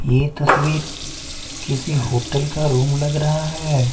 ये तस्वीर किसी होटल का रूम लग रहा हैं ।